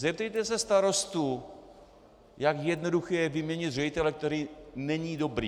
Zeptejte se starostů, jak jednoduché je vyměnit ředitele, který není dobrý.